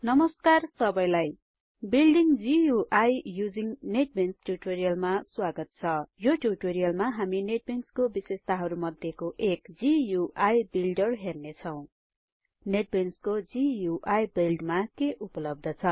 नमस्कार सबैलाई building GUI using NetBeans ट्युटोरियलमा स्वागत छ यो ट्युटोरियलमा हामी नेटबिंसको बिशेषताहरु मध्येको एक गुइ बिल्डर हेर्नेछौं नेटबिंसको गुइ विल्डरमा के उपलब्ध छ